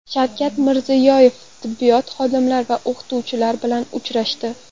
Shavkat Mirziyoyev tibbiyot xodimlari va o‘qituvchilar bilan uchrashdi.